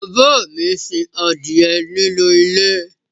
bàbá mi sin adìyẹ nínú ilé